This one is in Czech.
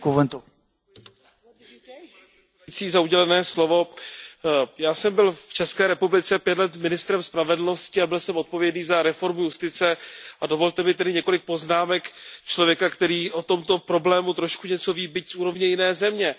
Pane předsedající, já jsem byl v České republice pět let ministrem spravedlnosti a byl jsem odpovědný za reformu justice, a dovolte mi tedy několik poznámek člověka, který o tomto problému trošku něco ví, byť z úrovně jiné země.